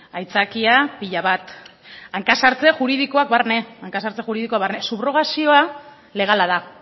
aitzakia pila bat hanka sartze juridikoak barne hanka sartze juridikoak barne subrogazioa legala da